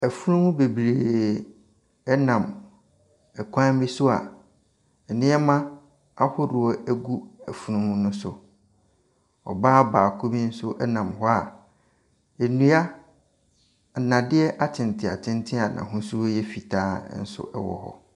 Afunumu bebree ɛnam kwan bi so a nneɛma ahodoɔ ɛgugu afunumu no so. Ɔbaa baako bi nso ɛnam hɔ a nnua nnadeɛ atenten atenten a n'ahosuo ɛyɛ fitaa nso ɛwɔ hɔ.